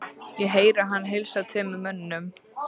Ég heyri hann heilsa tveimur mönnum.